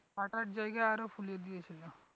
ফাটার জায়গায় আরো ফুলিয়ে দিয়ে ছিল